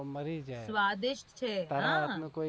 મારી જાય સ્વાદિષ્ટ છે હા